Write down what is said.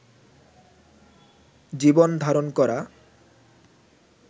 জীবন ধারণ করা